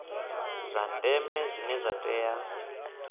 zwa ndeme zwine zwa tea